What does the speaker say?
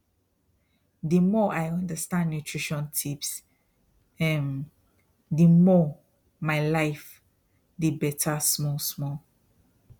the more i understand nutrition tips um the more my life they better small small